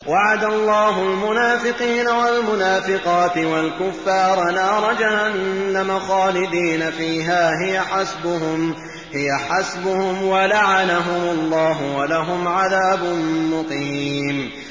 وَعَدَ اللَّهُ الْمُنَافِقِينَ وَالْمُنَافِقَاتِ وَالْكُفَّارَ نَارَ جَهَنَّمَ خَالِدِينَ فِيهَا ۚ هِيَ حَسْبُهُمْ ۚ وَلَعَنَهُمُ اللَّهُ ۖ وَلَهُمْ عَذَابٌ مُّقِيمٌ